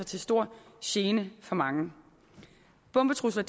til stor gene for mange bombetrusler